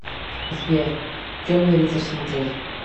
сбер темный рыцарь смотреть